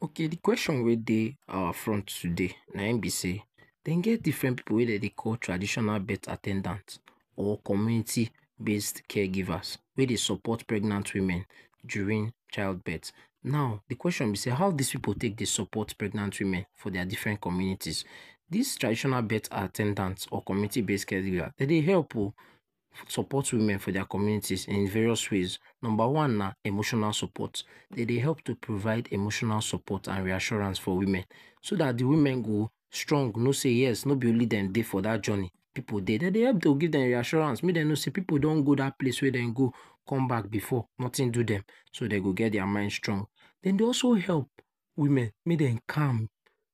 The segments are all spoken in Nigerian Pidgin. Okay de question wey dey our front today na im be sey dem get different pipu wey dem dey call traditional birth at ten dant or community birth care givers wey dey support pregnant women during child birth. Now de kwesion be sey how this pipu take dey support pregnant women from their different communities? These traditional birth at ten dants or community birth caregivers dem dey help oh support women in their communities in various ways. Number one na emotional support. Dey dey help to provide emotional support and reassurance for women so that de woman go strong know sey yes, no be only dem dey for that journey. Pipu dey. De dey help to give dem reassurance make dem know sey pipu don go that place wey dem go come back before nothing do dem. So dey go get their mind strong. Dem dey also help women make dem dey calm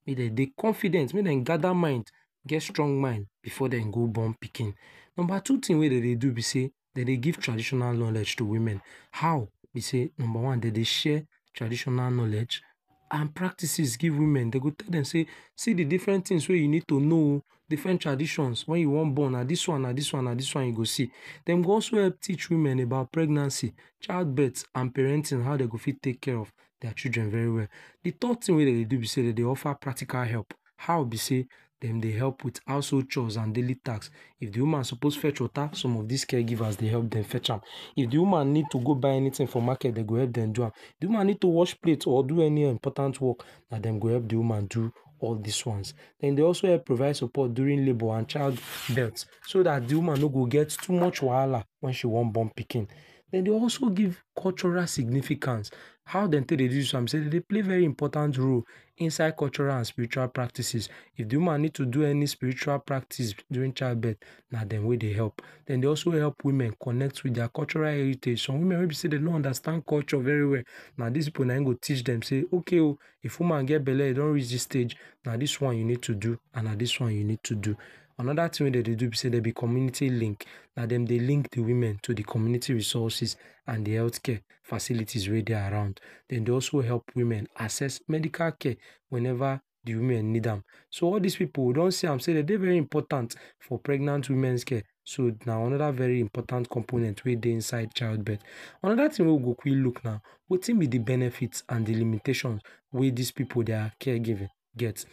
make dem dey confident, make dem gather mind get strong mind before dey go born pikin. Number two thing wey dem dey do be sey, dem dey give traditional knowledge to to women. How? be sey dem dey share knowledge and practices give woman. Dey go tell dem sey see de different things we you need to know oh, different traditions. When you wan born na this one na this one you go see. Dem dey also help teach women about pregnancy, child birth and parenting how dem go fit take care of their children well well. De third thing wey dem dey do be sey dem dey offer practical help. How be sey dem dey help with house hold chores and daily tasks. If de woman suppose fetch water, some of these caregivers dem go help dem fetch am. If de woman needs to go buy anything for market, dey go help dem do am. De woman no need to wash plate or do any important work, na dem go help de woman do all these ones. Dem dey also help provide support during labour and childbirth so that de woman no go get too much wahala when she wan born pikin. Dem dey also give cultural significance. How dem take dey do this one be sey, dem dey play very important role inside cultural and spiritual practices. If de woman needs to do any spiritual practice, during childbirth, na dem wey dey help. And dem dey also help women connect with their cultural heritage. Some woman we dey wey be sey dem no understand their culture very well na these pipu na im go teach dem say okay oh, if woman gets belle and e don reach this stage, na this one you need to do and na this one you need to do. Another thing we dem dey do be sey, dem be community link. Na dem dey link de women to de community resources and de health care facilities wey dey around. Dem dey also help woman access medical care whenever de women need am. So all these people we don see am sey dem dey very important for pregnant women's care but na another very impressive component wey dey inside childbirth. Another thing we we fit look at na wetin be de benefits and de limitations wey this pipu their caregiving get.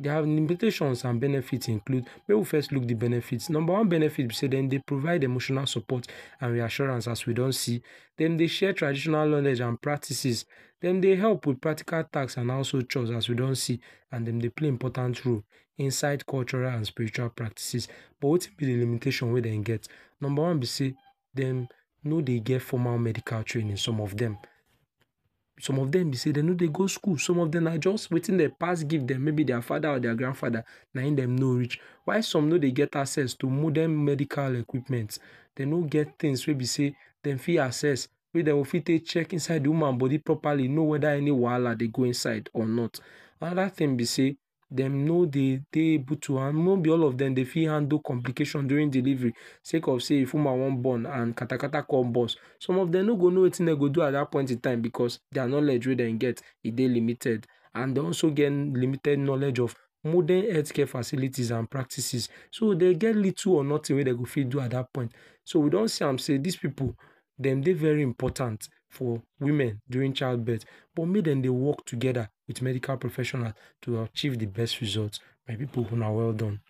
Their limitations and benefit include: make we first look de benefits. Number one be sey dem dey provide emotional support and reassurance we don see. Dem dey share traditional knowledge and practices. Dem dey help to carry out practical task and also chores wey we don see and dem dey play important role inside cultursl and spiritual practices. But wetin be de limitations wey dem get? Number one be sey dem no dey get formal medical training some of dem. Some of dem be sey dem no dey go school. Some of dem na wetin dey pass give dem maybe their father or their grandfather na im dey know reach. While some no dey get access to Modern medeical equipment. Dem no get things wey be sey dem fit access. Sey dem go fit take check inside de woman body properly know whether any wahala dey go inside or not. Another thing be sey dem no dey dey able to handle, no be all of dem dem go fit handle complecation during delivery sake of sey if woman wan born, katakata come burst. Some of dem no go know wetin wetin dem go do at that point in time because their knowledge wey dem get e dey limited and also get limited knowledge of modern healthcare facilities and practices. So dem get little or nothing wey dem go fit do at that point. So we don see am sey these pipu dem dey very important for womane during childbirth but make dem dey work together with medical professionals to achieve de best results. My people una well done.